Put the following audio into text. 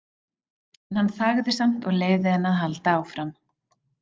En hann þagði samt og leyfði henni að halda áfram.